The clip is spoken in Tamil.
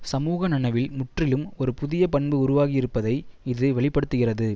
சமூக நனவில் முற்றிலும் ஒரு புதிய பண்பு உருவாகியிருப்பதை இது வெளி படுத்துகிறது